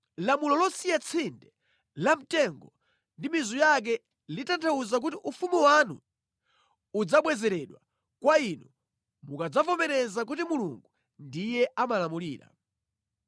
Lamulo losiya tsinde la mtengo ndi mizu yake litanthauza kuti ufumu wanu udzabwezeredwa kwa inu mukadzavomereza kuti Mulungu ndiye amalamulira.